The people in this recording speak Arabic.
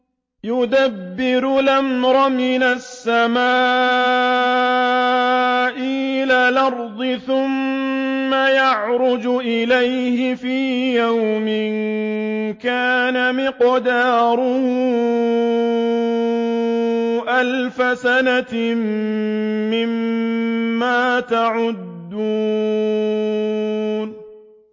يُدَبِّرُ الْأَمْرَ مِنَ السَّمَاءِ إِلَى الْأَرْضِ ثُمَّ يَعْرُجُ إِلَيْهِ فِي يَوْمٍ كَانَ مِقْدَارُهُ أَلْفَ سَنَةٍ مِّمَّا تَعُدُّونَ